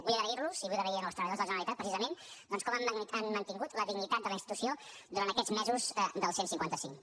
vull agrair los i vull agrair als treballadors de la generalitat precisament doncs com han mantingut la dignitat de la institució durant aquests mesos del cent i cinquanta cinc